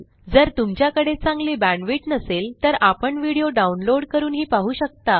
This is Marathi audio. जर तुमच्याकडे चांगली बॅण्डविड्थ नसेल तर आपण व्हिडिओ डाउनलोड करूनही पाहू शकता